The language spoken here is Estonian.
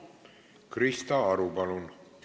Krista Aru, palun!